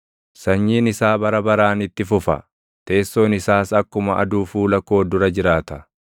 Sanyiin isaa bara baraan itti fufa; teessoon isaas akkuma aduu fuula koo dura jiraata;